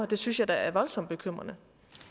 det synes jeg da er voldsomt bekymrende